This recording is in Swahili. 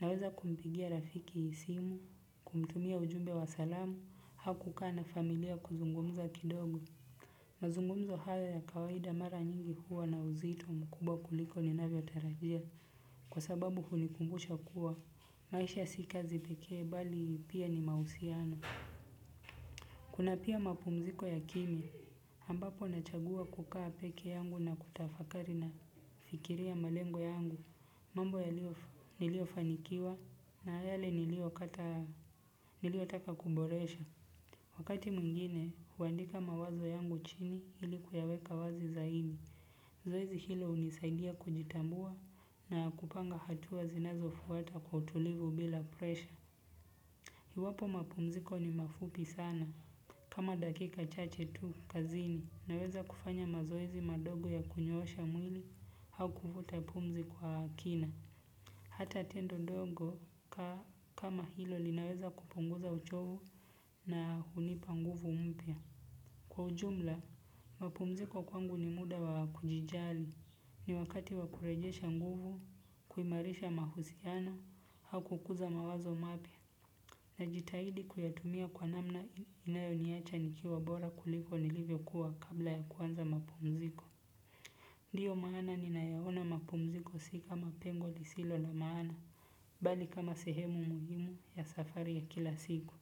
Naweza kumpigia rafiki simu, kumtumia ujumbe wa salamu, au kukaa na familia kuzungumza kidogo. Mazungumzo hayo ya kawaida mara nyingi huwa na uzito mkubwa kuliko ninavyo tarajia. Kwa sababu hunikumbusha kuwa, maisha si kazi pekee bali pia ni mahusiano. Kuna pia mapumziko ya kimya, ambapo nachagua kukaa peke yangu na kutafakari na kufikiria malengo yangu, mambo niliyofanikiwa na yale niliyotaka kuyaboresha. Wakati mwingine, huandika mawazo yangu chini ilikuyaweka wazi zaidi. Zoezi hilo hunisaidia kujitambua na kupanga hatua zinazofuata kwa utulivu bila presha. Iwapo mapumziko ni mafupi sana, kama dakika chache tu kazini, naweza kufanya mazoezi madogo ya kunyoosha mwili, au kuvuta pumzi kwa kina. Hata tendo dogo kama hilo linaweza kupunguza uchovu na hunipa nguvu mpya. Kwa ujumla, mapumziko kwangu ni muda wa kujijali, ni wakati wa kurejesha nguvu, kuimarisha mahusiano, au kukuza mawazo mapya. Najitahidi kuyatumia kwa namna inayoniacha nikiwa bora kuliko nilivyokuwa kabla ya kuanza mapumziko. Ndiyo maana ninayaona mapumziko si kamapengo lisilo na maana, bali kama sehemu muhimu ya safari ya kila siku.